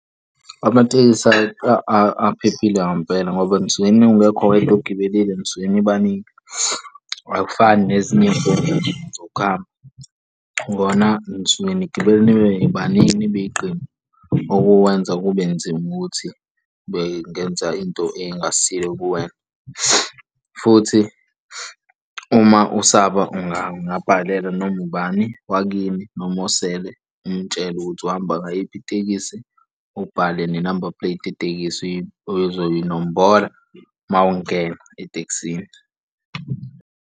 Amatekisi aphephile ngampela ngoba nisuke ungekho wedwa ogibelile nisuke nibaningi, akufani nezinye iy'nkundla zokuhamba, kona nisuke nigibele nibe baningi nibe iqembu okuwenza kube nzima ukuthi bengenza into ey'ngasile kuwena. Futhi, uma usaba ungabhalela noma ubani wakini noma osele umutshele ukuthi uhamba ngayiphi itekisi, ubhale nenamba puleti yetekisi ozoyi nombola mawungena etekisini.